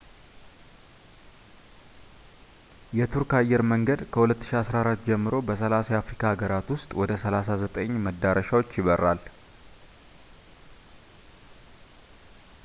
የቱርክ አየር መንገድ ከ2014 ጀምሮ በ30 የአፍሪካ ሃገራት ውስጥ ወደ 39 መዳረሻዎች ይበራል